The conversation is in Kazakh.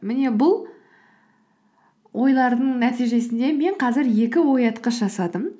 міне бұл ойлардың нәтижесінде мен қазір екі оятқыш жасадым